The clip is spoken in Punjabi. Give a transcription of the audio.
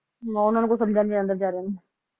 ਹਮ ਓਹਨਾ ਨੂੰ ਕੁਛ ਸਮਝਿਆ ਨਹੀਂ ਜਾਂਦਾ ਵੇਚਾਰਿਆਂ ਨੂੰ